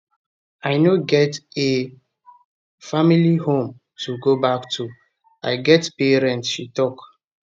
i no get a [family] home to go back to i get pay rent she tok